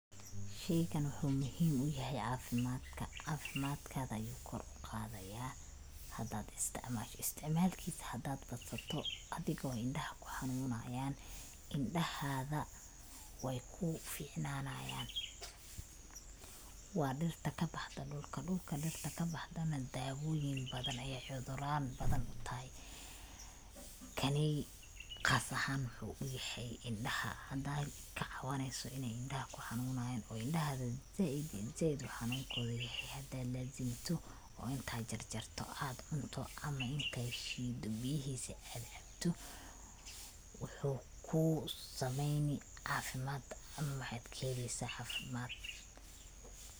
Sheygan wuxuu muhim uyahay caafimaadka, caafimaadkada ayu kor uqadaya hadad isticmaasho, usticmaal kiisa hadad badsato adigo indhaha kuxanunayan, indhahaga way ku ficnanayan, waa dhirta kabaxdo dhulka, dhulka dhirta kabaxdana daawoyin badan ayay cuduran badan utahay, kaney qaas ahan wuxuu uyahay indhaha, hadad kacawaneyso inay indhaha kuxanunayan oo indhahaga zaaid uu xanunkoda yahay hadad laazinto oo intad jarjarto ad cunto ama intad shiido biyahiisa ad canto, wuxuu kusameeyni caafimad ama maxad kaheli caafimad